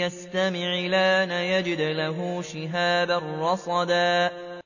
يَسْتَمِعِ الْآنَ يَجِدْ لَهُ شِهَابًا رَّصَدًا